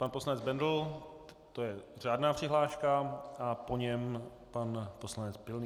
Pan poslanec Bendl - to je řádná přihláška, a po něm pan poslanec Pilný.